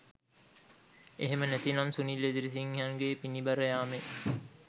එහෙම නැතිනම් සුනිල් එදිරිසිංහයන්ගේ පිණි බර යාමේ